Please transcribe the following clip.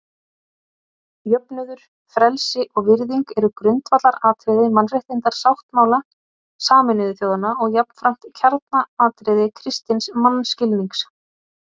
Jöfnuður, frelsi og virðing eru grundvallaratriði Mannréttindasáttmála Sameinuðu þjóðanna og jafnframt kjarnaatriði kristins mannskilnings.